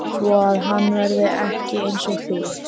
Svoað hann verði ekki einsog þau.